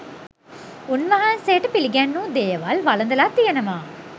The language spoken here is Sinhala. උන්වහන්සේට පිළිගැන්වූ දේවල් වළඳලා තියෙනවා